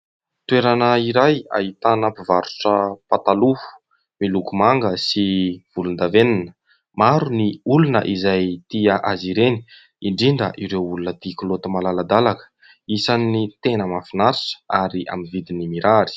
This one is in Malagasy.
Toerana iray ahitana mpivarotra pataloha miloko manga sy volondavenona. Maro ny olona izay tia azy ireny indrindra ireo olona tia kilaoty malaladalaka. Isan'ny tena mahafinarita ary amin'ny vidin'ny mirary.